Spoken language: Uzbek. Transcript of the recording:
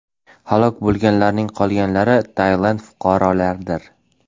Halok bo‘lganlarning qolganlari Tailand fuqarolaridir.